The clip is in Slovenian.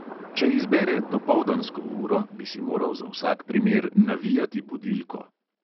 Če izbere dopoldansko uro, bi si moral za vsak primer navijati budilko.